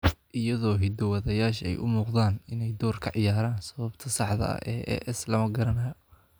Iyadoo hiddo-wadayaasha ay u muuqdaan inay door ka ciyaaraan, sababta saxda ah ee AS lama garanayo.